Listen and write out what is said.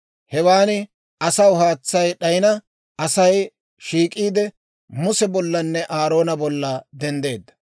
Hewaan asaw haatsay d'ayina, Asay shiik'iide, Muse bollanne Aaroona bolla denddeedda.